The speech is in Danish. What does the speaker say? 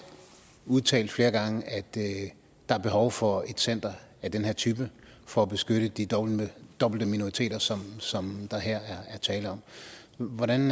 udtalt flere gange at der er behov for et center af den her type for at beskytte de dobbelte dobbelte minoriteter som som der her er tale om hvordan